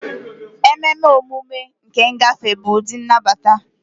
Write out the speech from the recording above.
Ememe emume nke ngafe bụ ụdị nnabata.